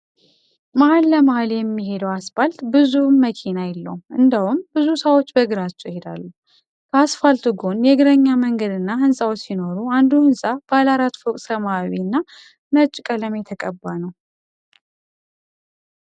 መሃል ለመሃል የሚሄደው አስፓልት ብዙም መኪና የለውም እንደውም ብዙ ሰዎች በእግራቸው ይሄዳሉ። ከአስፓልቱ ጎን የእግረኛ መንገድ እና ህንጻዎች ሲኖሩ አንዱ ህንጻ ባለ አራት ፎቅ ሰመያዊ እና ነጭ ቀለም የተቀባ ነው።